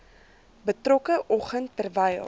betrokke oggend terwyl